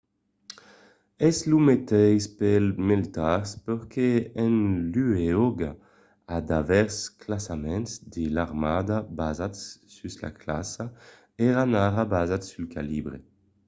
es lo meteis pels militars perque en luòga d'aver de classaments de l'armada basats sus la classa èran ara basats sul calibre